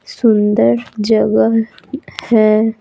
सुंदर जगह है।